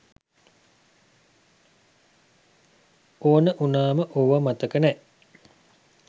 ඕන උනාම ඕව මතක නෑ.